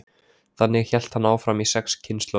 Þannig hélt hann áfram í sex kynslóðir.